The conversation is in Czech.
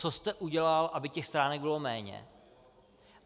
Co jste udělal, aby těch stránek bylo méně?